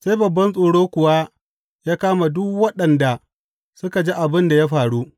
Sai babban tsoro kuwa ya kama duk waɗanda suka ji abin da ya faru.